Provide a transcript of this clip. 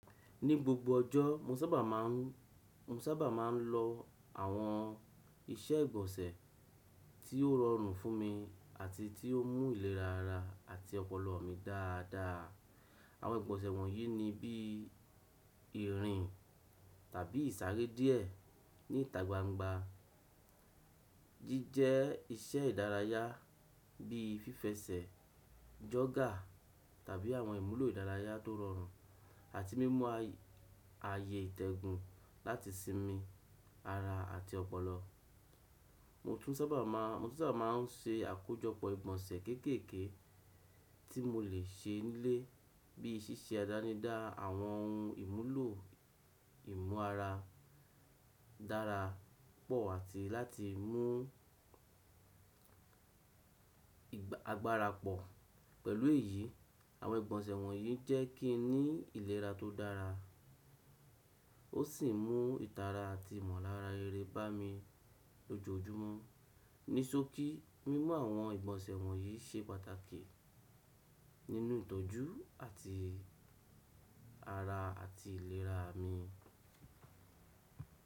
Ní gbogbo ọjọ́, mo sábà máa ń, mo sábà máa ń lo àwọn iṣẹ́ ìgbọ̀nsẹ̀ tí ó rọrùn fún mi àti tí ó mú ìlera ara àti ọpọlọ mi dáadáa. Àwọn ìgbọ̀nsẹ̀ wọ̀nyí ni bí i ìrìn tàbí ìsáré díẹ̀ ní ìta gbangba, jíjẹ́ iṣẹ́ ìdárayá bí i fífẹsẹ̀, jọ̀gà tàbí àwọn ìmúlò ìdárayá tó rọrùn, àti mímú ààyè ìtẹ́gùn láti sinmi ara àti ọpọlọ. Mo tún sábà máà, mo tun sábà máa ń ṣe àkójọpọ̀ ìgbọ̀nsẹ̀ kékèké tí mo lè ṣe nílé bíi ṣíṣe àdánidá àwọn ohun ìmúlò ìmú ara dára pọ̀ àti láti mú agbára pọ̀. Pẹ̀lú èyí, àwọn ìgbọ̀nsẹ̀ wọ̀nyí jẹ́ kí n ní ìlera tó dára ó sì mú ìtara àti ìmọ̀lára rere bá mi lójoojúmọ́. Nisoki, mímú àwọn ìgbọ̀nsẹ̀ wọ̀nyí ṣe pàtàkì nínú ìtọ́jú àti ara àti ìlera mi.